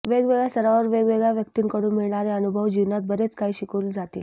वेगवेगळ्या सारावर वेगवेगळ्या व्यक्तींकडून मिळणारे अनुभव जीवनात बरेच काही शिकवून जातील